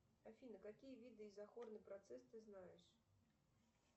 афина какие виды изохорный процесс ты знаешь